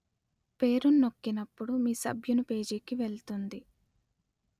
పేరును నొక్కినపుడు మీ సభ్యుని పేజీకి వెళ్తుంది